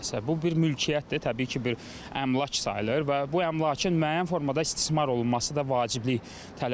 Bu bir mülkiyyətdir, təbii ki, bir əmlak sayılır və bu əmlakın müəyyən formada istismar olunması da vaciblik tələb edir.